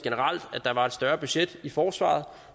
at der generelt var et større budget i forsvaret